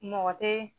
Mɔgɔ tɛ